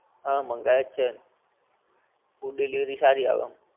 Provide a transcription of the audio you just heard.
હા મંગાયો જ છે ને, food delivery સારી આવે આમ